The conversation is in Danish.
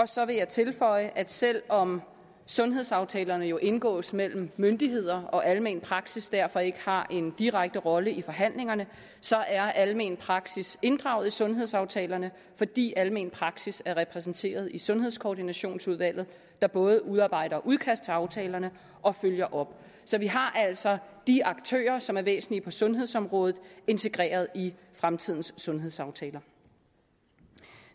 så vil jeg tilføje at selv om sundhedsaftalerne jo indgås mellem myndighederne og almen praksis derfor ikke har en direkte rolle i forhandlingerne så er almen praksis inddraget i sundhedsaftalerne fordi almen praksis er repræsenteret i sundhedskoordinationsudvalget der både udarbejder udkast til aftalerne og følger op så vi har altså de aktører som er væsentlige på sundhedsområdet integreret i fremtidens sundhedsaftaler